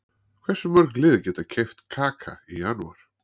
Hversu mörg lið geta keypt Kaka í janúar?